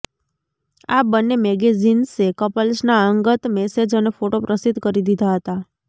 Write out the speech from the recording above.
આ બંને મેગેઝિન્સે કપલ્સના અંગત મેસેજ અને ફોટો પ્રસિદ્ધ કરી દીધા હતા